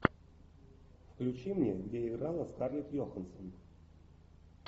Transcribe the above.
включи мне где играла скарлетт йоханссон